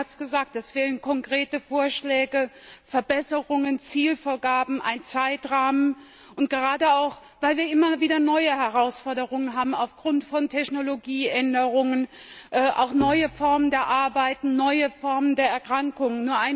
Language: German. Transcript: Der Kollege hat es gesagt, es fehlen konkrete Vorschläge, Verbesserungen, Zielvorgaben, ein Zeitrahmen, gerade auch, weil wir immer wieder neue Herausforderungen aufgrund von Technologieänderungen haben, auch neue Formen der Arbeit, neue Formen von Erkrankungen.